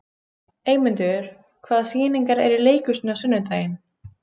Eymundur, hvaða sýningar eru í leikhúsinu á sunnudaginn?